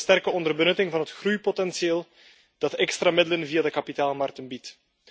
Dat is een sterke onderbenutting van het groeipotentieel dat extra middelen via de kapitaalmarkten biedt.